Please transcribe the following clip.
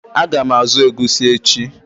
Ága m azụ egusi echi.